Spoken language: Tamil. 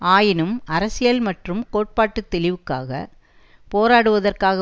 ஆயினும் அரசியல் மற்றும் கோட்பாட்டுத் தெளிவுக்காக போராடுவதற்காக